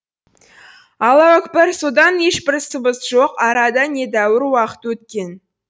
аллауәкпір содан ешбір сыбыс жоқ арада недәуір уақыт өткен